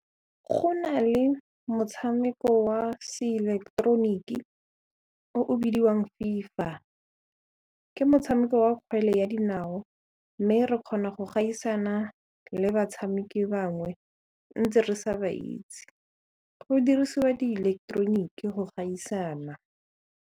Go na le motshameko wa seileketeroniki o o bidiwang FIFA ke motshameko wa kgwele ya dinao ka mme re kgona go gaisana le batshameki bangwe ntse re sa ba itse go dirisiwa diileketeroniki go gaisana.